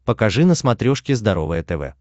покажи на смотрешке здоровое тв